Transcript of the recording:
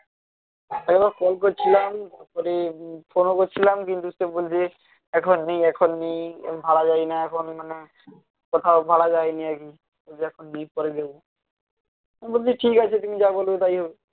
ও কে কল করছিলাম তারপরে ফোনও করেছিলাম কিন্তু সে বলছে যে এখন নেই এখন নেই ভাড়া দেয়না এখন মানে কোথাও ভাড়া দেয়নি আর কি এই জন্যে এখন next তারিখে আমি বলছি ঠিকাছে তুমি যা বলবে তাই হবে